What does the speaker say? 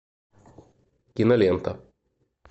кинолента